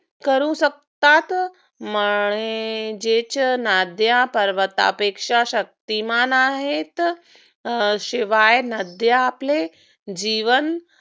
करू शकतात. म्हणजेच नद्या पर्वतपेक्षा शक्तिमान आहेत. शिवाय नद्या आपले जीवन